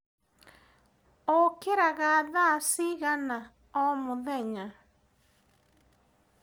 ũkĩraga thaa cigana omũthenya?